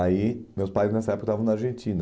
Aí meus pais nessa época estavam na Argentina.